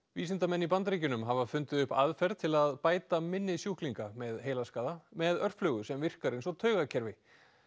vísindamenn í Bandaríkjunum hafa fundið upp aðferð til að bæta minni sjúklinga með heilaskaða með örflögu sem virkar eins og taugakerfi